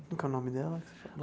Como que é o nome dela?